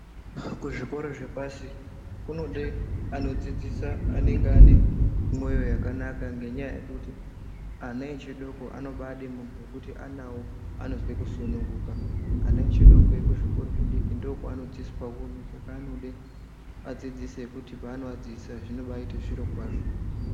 Kuzvikora zvepashi kunode anodzidisa anenge ane moyo yakanaka ngenya yekuti ana echidoko anobade muntu ekuti anawo anozwe kusununguka ana echidoko kuzvikoro zvidiki ndokwavano dzidziswa hunhu saka anode vadzidzisi vekuti pava novadzidzisa panobaite zviro kwazvo.